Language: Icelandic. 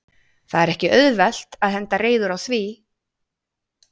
Það er ekki auðvelt að henda reiður á því?